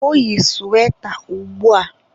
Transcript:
O yi suweta ugbua?